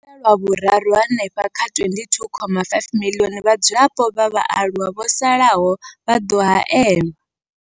Kha Luṱa lwa Vhuraru, hanefha kha 22.5 miḽioni ya vhadzulapo vha vhaaluwa vho salaho vha ḓo haelwa.